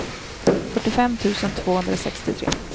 fyrtiofem tusen tvåhundrasextiotre